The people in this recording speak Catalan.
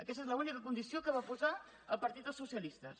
aquesta és l’única condició que va posar el partit dels socialistes